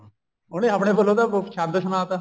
ਉਹਨੇ ਆਪਣੇ ਕੋਲੋ ਤਾਂ ਛੰਦ ਸੁਣਾ ਤਾ